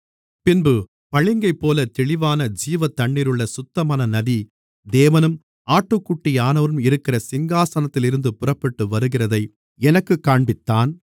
பின்பு பளிங்கைப்போல தெளிவான ஜீவத்தண்ணீருள்ள சுத்தமான நதி தேவனும் ஆட்டுக்குட்டியானவரும் இருக்கிற சிங்காசனத்திலிருந்து புறப்பட்டு வருகிறதை எனக்குக் காண்பித்தான்